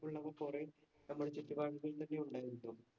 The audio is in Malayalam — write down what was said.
ഉള്ളവര്‍ കുറെ നമ്മുടെ ചുറ്റുപാടുകളില്‍ തന്നെ ഉണ്ടായിരുന്നു.